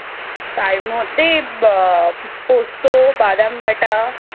তার মধ্যে আহ পোস্ত বাদাম বাটা,